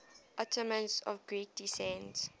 ottomans of greek descent